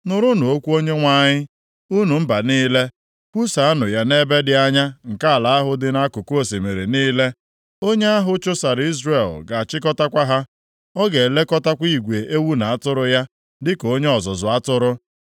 “Nụrụnụ okwu Onyenwe anyị, unu mba niile; kwusaanụ ya nʼebe dị anya nke ala ahụ dị nʼakụkụ osimiri niile. Onye ahụ chụsara Izrel ga-achịkọtakwa ha. Ọ ga-elekọtakwa igwe ewu na atụrụ ya dịka onye ọzụzụ atụrụ.